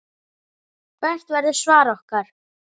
Hvert verður svar okkar?